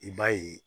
I b'a ye